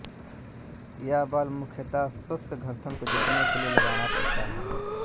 यह बल मुख्यतः शुष्क घर्षण को जीतने के लिए लगाना पड़ता है